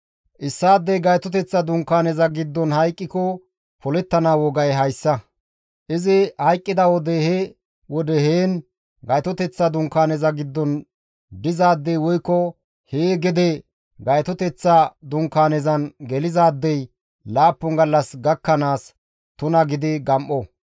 «Issaadey Gaytoteththa Dunkaaneza giddon hayqqiko polettana wogay hayssa. Izi hayqqida wode he wode heen Gaytoteththa Dunkaaneza giddon dizaadey woykko hee gede Gaytoteththa Dunkaanezan gelizaadey laappun gallas gakkanaas tuna gidi gam7o.